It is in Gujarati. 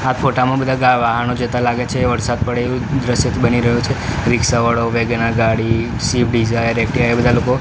આ ફોટા માં બધા ગા વાહનો જતા લાગે છે વરસાદ પડેલો દૃશ્ય બની રહ્યું છે રીક્ષાવાળો વેગેનર ગાડી સ્વીફ્ટ ડિઝાયર એક્ટિવા એ બધા લોકો--